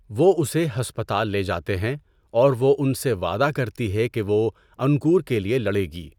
وہ اسے ہسپتال لے جاتے ہیں اور وہ ان سے وعدہ کرتی ہے کہ وہ انکور کے لیے لڑے گی۔